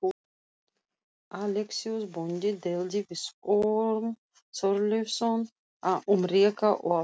Alexíus bóndi deildi við Orm Þorleifsson um reka og afrétt.